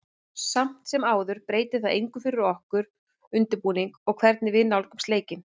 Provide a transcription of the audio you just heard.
Samt sem áður breytir það engu fyrir okkur, okkar undirbúning og hvernig við nálgumst leikinn.